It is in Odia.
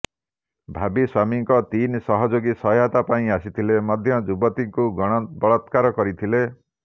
ଭାବିସ୍ବାମୀଙ୍କ ତିନି ସହଯୋଗୀ ସହାୟତା ପାଇଁ ଆସିଥିଲେ ମଧ୍ୟ ଯୁବତୀଙ୍କୁ ଗଣ ବଳାତ୍କାର କରିଥିଲେ